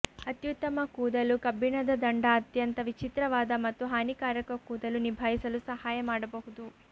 ಅತ್ಯುತ್ತಮ ಕೂದಲು ಕಬ್ಬಿಣದ ದಂಡ ಅತ್ಯಂತ ವಿಚಿತ್ರವಾದ ಮತ್ತು ಹಾನಿಕಾರಕ ಕೂದಲು ನಿಭಾಯಿಸಲು ಸಹಾಯ ಮಾಡಬಹುದು